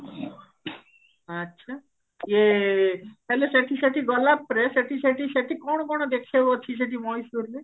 ଆଛା ଇଏ ତାହେଲେ ସେଠି ସେଠି ଗଲାପରେ ସେଠି ସେଠି ସେଠି କଣ କଣ ଦେଖିବାକୁ ଅଛି ସେଠି ମୟୀଶୁର ରେ